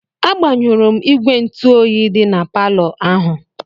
Agbanyụrụ m igwe ntụ oyi dị na palọ ahụ.